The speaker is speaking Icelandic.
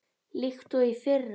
líkt og í fyrra.